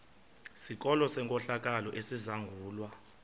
sikolo senkohlakalo esizangulwa